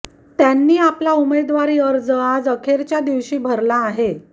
त्यांनी आपला उमेदवारी अर्ज आज अखेरच्या दिवशी भरला आहे